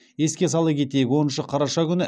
еске сала кетейік оныншы қараша күні